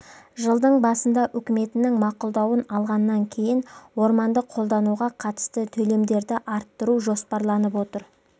жылдың басында үкіметінің мақұлдауын алғаннан кейін орманды қолдануға қатысты төлемдерді арттыру жоспарланып отыр